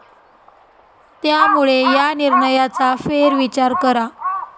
त्यामुळे या निर्णयाचा फेरविचार करा.